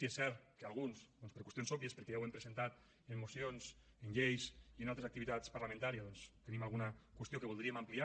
i és cert que alguns doncs per qüestions òbvies perquè ja ho hem presentat en mocions en lleis i en altres activitats parlamentàries tenim alguna qüestió que voldríem ampliar